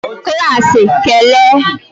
klaasị kele!